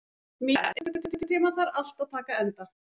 Mías, einhvern tímann þarf allt að taka enda.